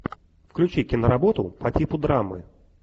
включи киноработу по типу драмы